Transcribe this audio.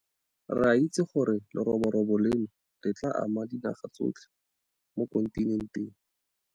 Re a itse gore leroborobo leno le tla ama dinaga tsotlhe mo kontinenteng.